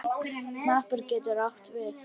Hnappur getur átt við